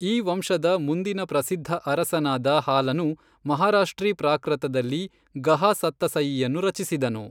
ಈ ವಂಶದ ಮುಂದಿನ ಪ್ರಸಿದ್ಧ ಅರಸನಾದ ಹಾಲನು, ಮಹಾರಾಷ್ಟ್ರೀ ಪ್ರಾಕೃತದಲ್ಲಿ ಗಹಾ ಸತ್ತಸಯೀಯನ್ನು ರಚಿಸಿದನು.